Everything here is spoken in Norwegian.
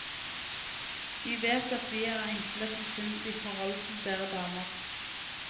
Vi vet vi er enkle til sinns i forhold til dere damer.